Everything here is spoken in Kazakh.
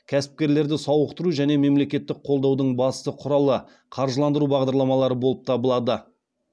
кәсіпкерлерді сауықтыру және мемлекеттік қолдаудың басты құралы қаржыландыру бағдарламалары болып табылады